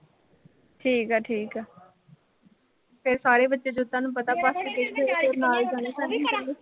ਠੀਕ ਆ-ਠੀਕ ਆ ਠੀਕ ਆ-ਠੀਕ ਆ ਤੇ ਸਾਰੇ ਬੱਚੇ ਜਦੋਂ ਤੁਹਾਨੂੰ ਪਤਾ ਬਾਕੀ ਦੇ ਵੀ